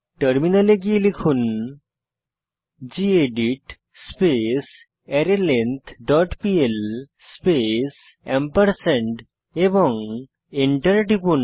টার্মিনালে গিয়ে লিখুন gedit space array length dot PL space এবং এন্টার টিপুন